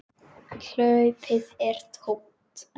Hlaupið er tómt.